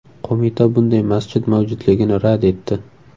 Qo‘mita bunday masjid mavjudligini rad etdi.